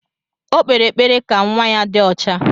O kpere ekpere ka nwa ya dị ọcha.